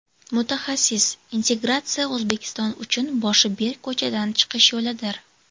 Mutaxassis: Integratsiya O‘zbekiston uchun boshi berk ko‘chadan chiqish yo‘lidir.